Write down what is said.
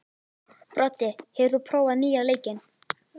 Broddi, hefur þú prófað nýja leikinn?